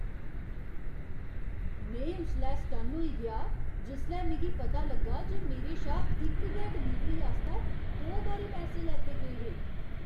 में उसलै सटन्न होई गेआ जिसलै मिगी पता लग्गा जे मेरे शा इक गै डलीवरी आस्तै दो बारी पैसे लैते गे हे!